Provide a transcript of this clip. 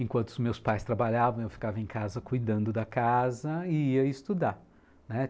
Enquanto meus pais trabalhavam, eu ficava em casa cuidando da casa e ia estudar, né.